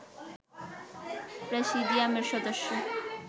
প্রেসিডিয়ামের সদস্য